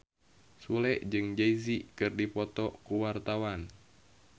Sule jeung Jay Z keur dipoto ku wartawan